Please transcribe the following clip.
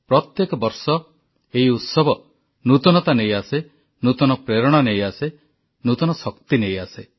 ପ୍ରତ୍ୟେକ ବର୍ଷ ଏହି ଉତ୍ସବ ନୂତନତା ନେଇ ଆସେ ନୂତନ ପ୍ରେରଣା ନେଇ ଆସେ ନୂତନ ଶକ୍ତି ନେଇ ଆସେ